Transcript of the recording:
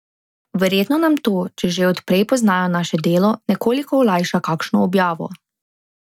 Verjetno nam to, če že od prej poznajo naše delo, nekoliko olajša kakšno objavo.